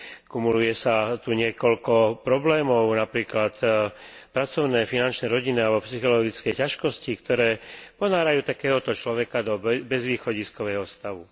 Kumuluje sa tu niekoľko problémov, napríklad pracovné, finančné, rodinné alebo psychologické ťažkosti, ktoré ponárajú takéhoto človeka do bezvýchodiskového stavu.